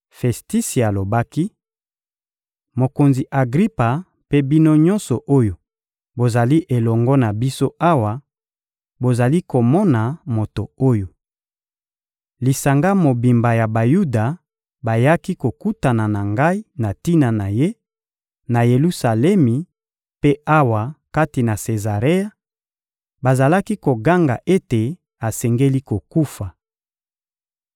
Festisi alobaki: — Mokonzi Agripa mpe bino nyonso oyo bozali elongo na biso awa, bozali komona moto oyo! Lisanga mobimba ya Bayuda bayaki kokutana na ngai na tina na ye, na Yelusalemi mpe awa kati na Sezarea, bazalaki koganga ete asengeli kokufa.